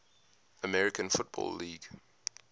american football league